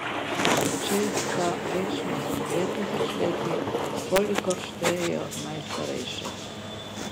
Če sta večnost dve tisočletji, kolikor štejejo najstarejše.